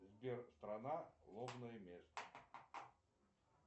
сбер страна лобное место